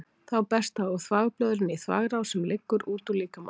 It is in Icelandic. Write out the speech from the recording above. Þá berst það úr þvagblöðrunni í þvagrás sem liggur út úr líkamanum.